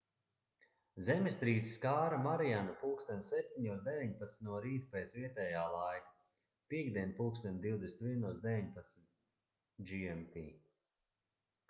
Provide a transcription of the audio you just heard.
zemestrīce skāra marianu plkst. 7:19 no rīta pēc vietējā laika piektdien plkst. 21:19 gmt